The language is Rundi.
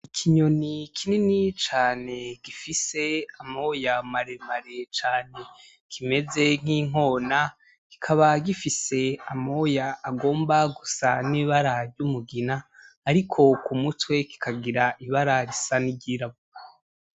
Ikinyoni kinini cane gifise amoya maremare cane kimeze nkinkona , kikaba gifise amoya agomba gusa nibara ry'umugina ariko kumutwe kikagira ibara risa niryirabura .